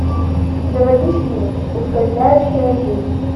заводи фильм ускользающая жизнь